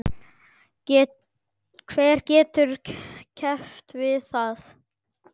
Hver getur keppt við það?